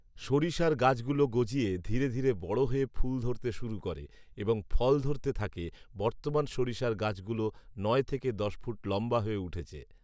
সরিষার গাছগুলো গজিয়ে ধীরে ধীরে বড় হয়ে ফুল ধরতে শুরু করে এবং ফল ধরতে থাকে। বর্তমান সরিষার গাছগুলো নয় থেকে দশ ফুট লম্বা হয়ে উঠেছে